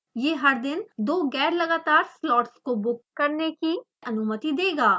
यह हर दिन दो गैरलगातार स्लॉट्स को बुक करने कि अनुमति देगा